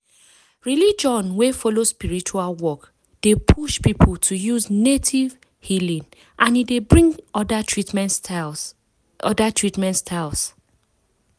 religion wey follow spiritual work dey push people to use native healing and e dey bring other treatment styles. other treatment styles.